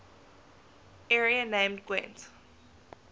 area named gwent